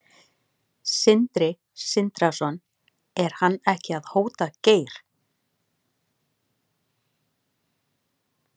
Sindri Sindrason: Er hann ekki að hóta Geir?